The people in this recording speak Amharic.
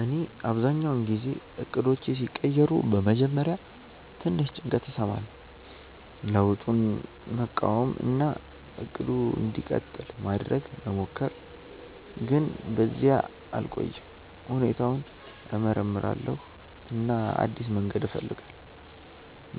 እኔ አብዛኛውን ጊዜ እቅዶቼ ሲቀየሩ በመጀመሪያ ትንሽ ጭንቀት እሰማለሁ፣ ለውጡን መቃወም እና “እቅዱ እንዲቀጥል” ማድረግ መሞከር፣ ግን በዚያ አልቆይም። ሁኔታውን እመርምራለሁ እና አዲስ መንገድ እፈልጋለሁ፤